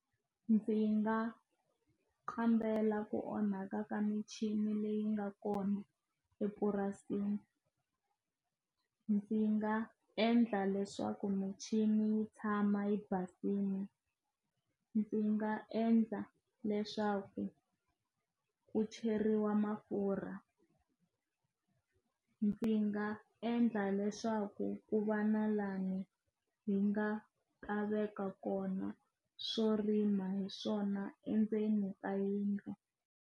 Ndzi nga kambela ku onhaka ka michini leyi nga kona epurasini ndzi nga endla leswaku michini yi tshama yi basile ndzi nga endla leswaku ku cheriwa mafurha ndzi nga endla leswaku ku va na lani hi nga veka kona swo rima hi swona endzeni ka yindlu.